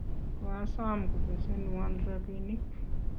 koasom kobesenwon robinik